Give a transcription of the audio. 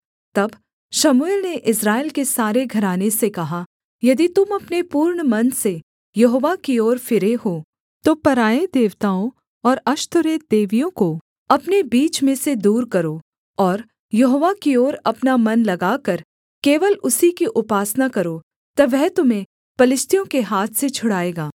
तब शमूएल ने इस्राएल के सारे घराने से कहा यदि तुम अपने पूर्ण मन से यहोवा की ओर फिरे हो तो पराए देवताओं और अश्तोरेत देवियों को अपने बीच में से दूर करो और यहोवा की ओर अपना मन लगाकर केवल उसी की उपासना करो तब वह तुम्हें पलिश्तियों के हाथ से छुड़ाएगा